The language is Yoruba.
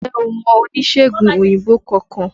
Ǹjẹ́ o mọ oníṣègùn òyìnbó kankan?